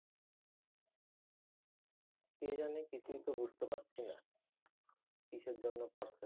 কে জানে? কিছুই তো বুঝতে পারতেসি না কিসের জন্য করসে।